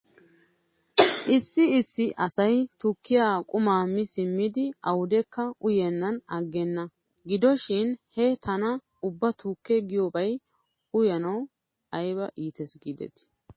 issi issi asay tukkiyaa qumaa mi siimidi awdekka uyennan aggena. Gido shin he tana ubba tukke giyoobaa uyanaw ayba iites giidetii